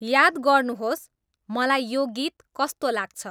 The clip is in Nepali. याद गर्नुहोस् मलाई यो गीत कस्तो लाग्छ